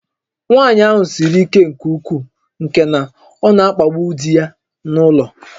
Nwaanyị ahụ siri ike nke ukwuu nke na ọ na-akpagbu di ya n'ụlọ